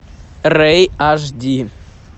рей аш ди